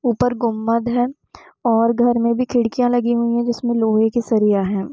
ऊपर गुंबद है और घर में भी खिड़कियां लगी हुई है जिसमें लोहे के सरिया है।